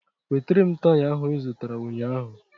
Wetara m taya ahụ I zụtara ụnyaahụ